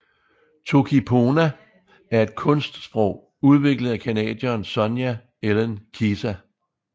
Toki pona er et kunstsprog udviklet af canadieren Sonja Elen Kisa